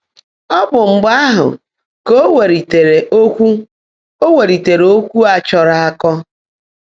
Ọ́ bụ́ mgbe áhụ́ kà ó wèlíteèrè ókwụ́ ó wèlíteèrè ókwụ́ á chọ́ọ́ró ákọ́.